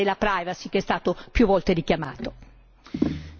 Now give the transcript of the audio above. Infine, sicura il tema della privacy che è stato più volte richiamato.